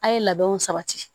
A' ye labɛnw sabati